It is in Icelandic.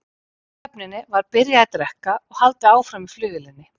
Í fríhöfninni var byrjað að drekka og haldið áfram í flugvélinni.